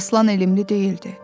Aslan elmli deyildi.